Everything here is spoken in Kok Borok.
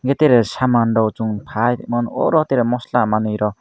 a tere saman rok chung pai rimoro tere mosla manoi rok.